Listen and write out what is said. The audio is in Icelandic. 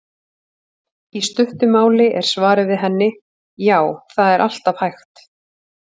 Í stuttu máli er svarið við henni: Já, það er alltaf hægt.